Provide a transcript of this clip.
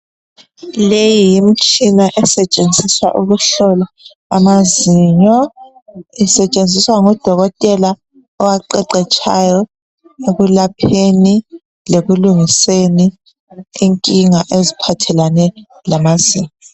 Leyi yimtshina esetshenziswa ukuhlola amazinyo. Isetshenziswa ngudokotela owaqeqetshayo ekulapheni lekulungiseni inkinga eziphathelane lamazinyo.